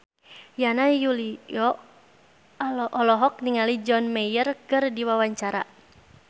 Yana Julio olohok ningali John Mayer keur diwawancara